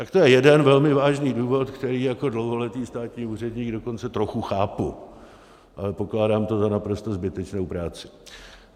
Tak to je jeden velmi vážný důvod, který jako dlouholetý státní úředník dokonce trochu chápu, ale pokládám to za naprostou zbytečnou práci.